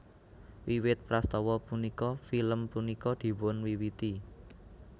Wiwit prastawa punika film punika dipunwiwiti